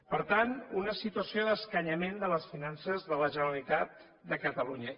per tant una situació d’escanyament de les finances de la generalitat de catalunya